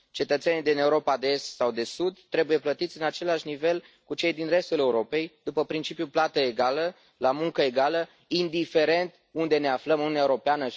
Cetățenii din Europa de Est sau de Sud trebuie plătiți la același nivel ca cei din restul Europei, după principiul plată egală la muncă egală, indiferent unde ne aflăm în Uniunea Europeană.